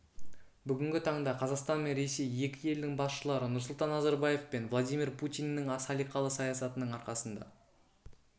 бүгінгі таңда қазақстан мен ресей екі елдің басшылары нұрсұлтан назарбаев пен владимир путиннің салиқалы саясатының арқасында